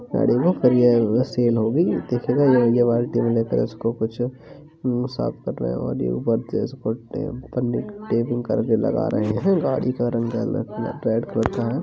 गाड़ी में सेल हो गई। कुछ साफ़ कर रहे और ये ऊपर टेपिंग करके लगा रहे हैं। गाड़ी का रंग रेड कलर का है --